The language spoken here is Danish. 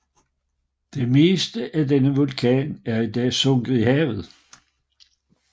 Det meste af denne vulkan er i dag sunket i havet